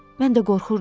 Mən də qorxurdum.